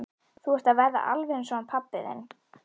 Þú ert að verða alveg eins og hann pabbi þinn.